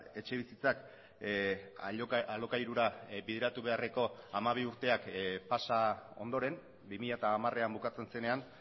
etxebizitzak alokairura bideratu beharreko hamabi urteak pasa ondoren bi mila hamarean bukatzen zenean